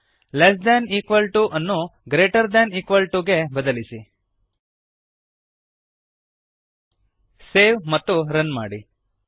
less than equal to less than equal to ವನ್ನು greater than equal to greater than equal to ಗೆ ಬದಲಿಸಿ